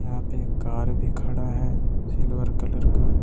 यहां पे एक कार भी खड़ा है सिल्वर कलर का।